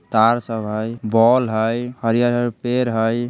तार सब हई बॉल हइ हरियर-हरियर पेड़ हई।